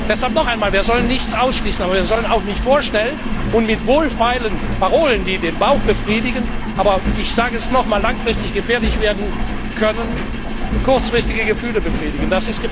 Deshalb noch einmal Wir sollten nichts ausschließen, aber wir sollten auch nicht vorschnell und mit wohlfeilen Parolen, die den Bauch befriedigen, die aber ich sage es noch einmal langfristig gefährlich werden können, kurzfristige Gefühle befriedigen.